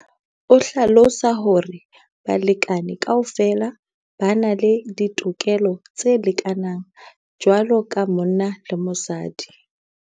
O hlalosa hore balekane kaofela ba na le ditokelo tse lekanang jwalo ka monna le mosadi.